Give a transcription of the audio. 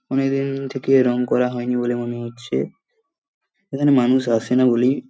অনেকদিন থেকে রং করা হয়নি বলে মনে হচ্ছে। এখানে মানুষ আসেনা বলেই --